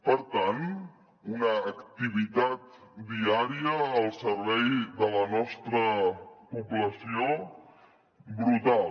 per tant una activitat diària al servei de la nostra població brutal